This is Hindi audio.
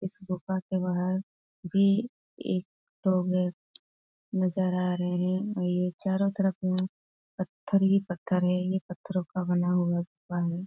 इस गुफा के बाहर भी एक नजर आ रहे हैं ये चारो तरफ में पत्थर ही पत्थर हैं ये पत्थरो का बना हुआ गुफा है।